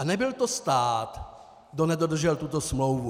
A nebyl to stát, kdo nedodržel tuto smlouvu.